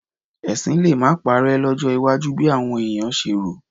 Ẹ̀sìn lè má parẹ́ lọ́jọ́ iwájú bí àwọn èèyàn ṣe rò